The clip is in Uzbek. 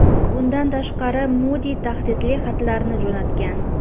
Bundan tashqari, Mudi tahdidli xatlarni jo‘natgan.